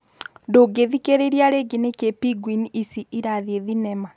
Ndũngĩthikĩrĩria rĩngĩ nĩkĩĩ Pingwini ici ĩrathiĩ thinema?